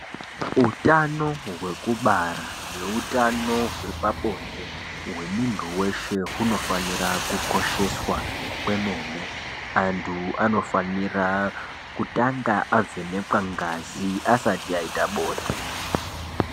Utano hwekubara neutano hwepabonde hwemuntu weshe hunofanira kukosheswa kwemene antu anofanira kutanga avhenekwa ngazi asati aita bonde.